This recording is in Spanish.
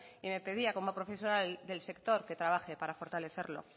y me pedía como profesional del sector que trabaje para fortalecerlo